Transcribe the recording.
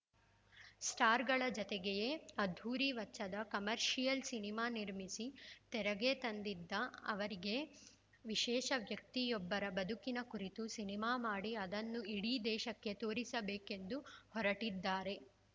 ಸ್ಟಾರ್‌ಗಳ ಜತೆಗೆಯೇ ಅದ್ಧೂರಿ ವಚ್ಚದ ಕಮರ್ಷಿಯಲ್‌ ಸಿನಿಮಾ ನಿರ್ಮಿಸಿ ತೆರೆಗೆ ತಂದಿದ್ದ ಅವರೀಗ ವಿಶೇಷ ವ್ಯಕ್ತಿಯೊಬ್ಬರ ಬದುಕಿನ ಕುರಿತು ಸಿನಿಮಾ ಮಾಡಿ ಅದನ್ನು ಇಡೀ ದೇಶಕ್ಕೆ ತೋರಿಸಬೇಕೆಂದು ಹೊರಟಿದ್ದಾರೆ